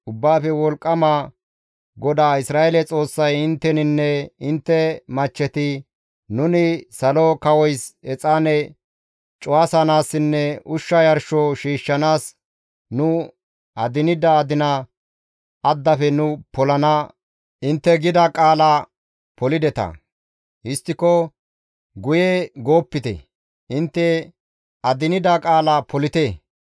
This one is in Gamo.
Ubbaafe Wolqqama GODAA Isra7eele Xoossay intteninne intte machcheti, ‹Nuni Salo kawoys exaane cuwasanaassinne ushsha yarsho shiishshanaas nu adinida adina addafe nu polana› intte gida qaala polideta; histtiko guye goopite; intte adinida qaala polite.